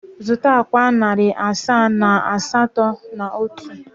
Zụta akwa narị asaa na iri asatọ na otu.